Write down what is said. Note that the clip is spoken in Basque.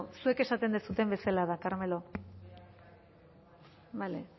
zuek esaten duzuten bezala da carmelo bale